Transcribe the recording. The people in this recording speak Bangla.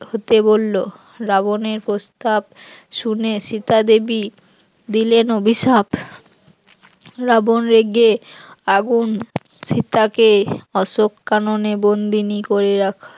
হতে বলল, রাবণের প্রস্তাব শুনে সীতা দেবী দিলেন অভিশাপ রাবন রেগে আগুন, সীতা কে অশোক কাননে বন্দিনি করে রাখ